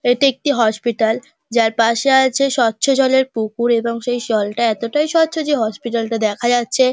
এটি একটি হসপিটাল যার পাশে আছে স্বচ্ছ জলের পুকুর এবং সেই জলটা এততাই স্বচ্ছ যে হসপিটাল -টা দেখা যাচ্ছে।